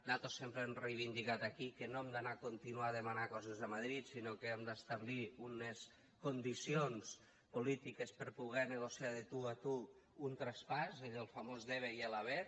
nosaltres sempre hem reivindicat aquí que no hem d’anar a continuar demanant coses a madrid sinó que hem d’establir unes condicions polítiques per poder negociar de tu a tu un traspàs allò del famós debe i el haber